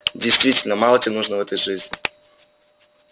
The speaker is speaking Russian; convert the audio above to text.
действительно мало тебе нужно в этой жизни